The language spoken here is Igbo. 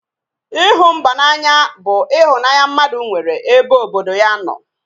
Ịhụ mba n'anya bụ ịhụnanya mmadụ nwere ebe obodo ya nọ